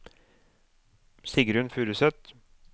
Sigrunn Furuseth